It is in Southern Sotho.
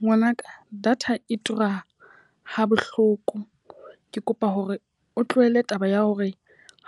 Ngwanaka, data e tura ha bohloko. Ke kopa hore o tlohele taba ya hore